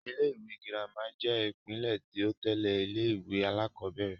Ilé-ìwé girama jẹ́ ìpele ti o tẹ́lẹ̀ ilé-ìwé alakọ̀bẹ́ẹ́rẹ̀